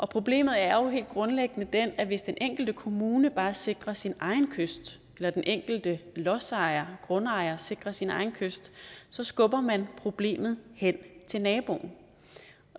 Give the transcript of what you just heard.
problemet er jo helt grundlæggende det at hvis den enkelte kommune bare sikrer sin egen kyst eller at den enkelte lodsejer grundejer sikrer sin egen kyst så skubber man problemet hen til naboen